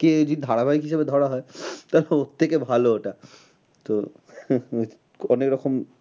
কে যদি ধারাবাহিক হিসাবে ধরা হয় দেখো সব থেকে ভালো ওটা তো অনেক রকম